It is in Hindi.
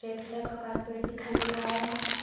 रेड कलर का कारपेट दिखाई दे रहा है।